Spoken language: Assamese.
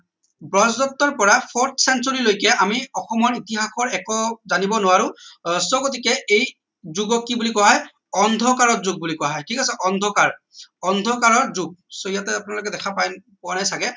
ব্ৰজদত্তৰ পৰা forts century লৈকে আমি অসমৰ ইতিহাসৰ একো জানিব নোৱাৰো আহ so গতিকে এই যুগক কি বুলি কোৱা হয় অন্ধকাৰ যুগ বুলি কোৱা হয় ঠিক আছে অন্ধকাৰ অন্ধকাৰৰ যুগ so ইয়াতে আপোনালোকে পাই পোৱা নাই চাগে